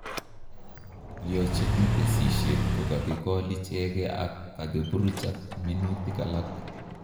Iyojine kesishet ko kakikol ichegee ak kokakiburuch ak minutik alak